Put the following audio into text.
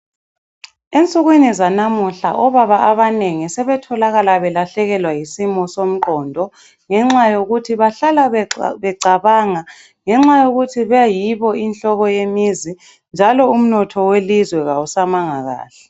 Ensukwini zanamuhla obaba abanengi sebetholakala belahlekelwa yisimo somqondo ngenxa yokuthi bahlala becabanga ngenxa yokuthi beyibo inhloko yemizi njalo umnotho welizwe kawusamanga kuhle.